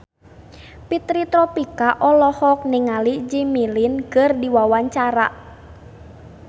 Fitri Tropika olohok ningali Jimmy Lin keur diwawancara